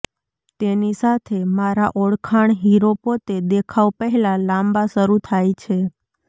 તેની સાથે મારા ઓળખાણ હીરો પોતે દેખાવ પહેલાં લાંબા શરૂ થાય છે